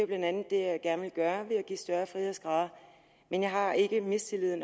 blandt andet det jeg gerne vil gøre ved at give større frihedsgrader men jeg har ikke mistillid